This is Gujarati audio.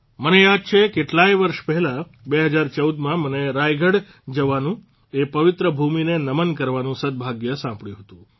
મને યાદ છે કેટલાય વર્ષ પહેલાં ૨૦૧૪માં મને રાયગઢ જવાનું એ પવિત્ર ભૂમિને નમન કરવાનું સદભાગ્ય સાંપડ્યું હતું